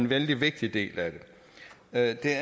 vældig vigtig del af det